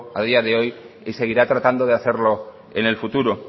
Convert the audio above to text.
a día de hoy y seguirá tratando de hacerlo en el futuro